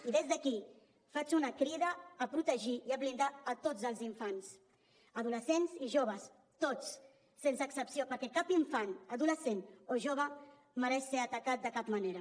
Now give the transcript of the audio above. i des d’aquí faig una crida a protegir i a blindar tots els infants adolescents i joves tots sense excepció perquè cap infant adolescent o jove mereix ser atacat de cap manera